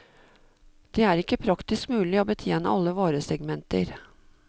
Det er ikke praktisk mulig å betjene alle varesegmenter.